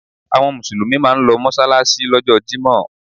Àwọn Mùsùlùmí máa ń lọ mọ́ṣáláṣí lọ́jọ́ jímọ̀.